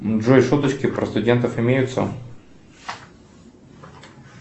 джой шуточки про студентов имеются